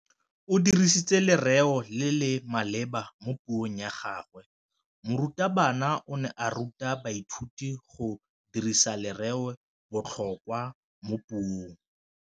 O dirisitse lerêo le le maleba mo puông ya gagwe. Morutabana o ne a ruta baithuti go dirisa lêrêôbotlhôkwa mo puong.